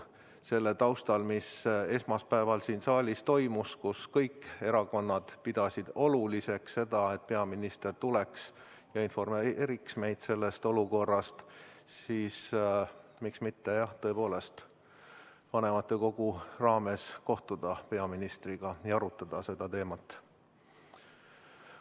Selle taustal, mis esmaspäeval siin saalis toimus, kui kõik fraktsioonid pidasid oluliseks, et peaminister tuleks ja informeeriks meid sellest olukorrast – miks mitte tõepoolest vanematekoguna kohtuda peaministriga ja arutada seda teemat.